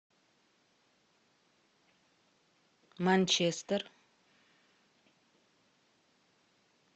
манчестер